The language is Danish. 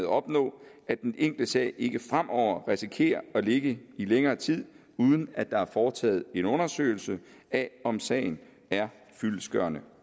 opnå at den enkelte sag ikke fremover risikerer at ligge i længere tid uden at der er foretaget en undersøgelse af om sagen er fyldestgørende